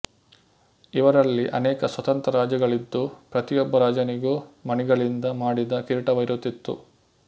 ಇವರಲ್ಲಿ ಅನೇಕ ಸ್ವತಂತ್ರ ರಾಜ್ಯಗಳಿದ್ದು ಪ್ರತಿಯೊಬ್ಬ ರಾಜನಿಗೂ ಮಣಿಗಳಿಂದ ಮಾಡಿದ ಕಿರೀಟವಿರುತ್ತಿತ್ತು